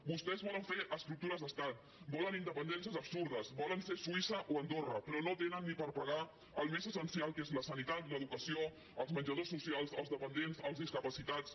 vostès volen fer estructures d’estat volen independències absurdes volen ser suïssa o andorra però no tenen ni per pagar el més essencial que és la sanitat l’educació els menjadors socials els dependents els discapacitats